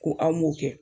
Ko an m'o kɛ